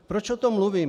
Proč o tom mluvím?